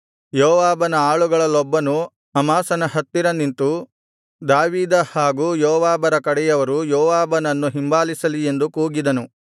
ಯೋವಾಬನ ಆಳುಗಳಲ್ಲೊಬ್ಬನು ಅಮಾಸನ ಹತ್ತಿರ ನಿಂತು ದಾವೀದ ಹಾಗೂ ಯೋವಾಬರ ಕಡೆಯವರು ಯೋವಾಬನನ್ನು ಹಿಂಬಾಲಿಸಲಿ ಎಂದು ಕೂಗಿದನು